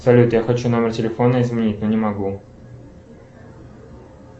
салют я хочу номер телефона изменить но не могу